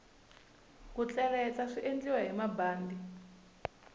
ku tleletla swiendliwa hi bandi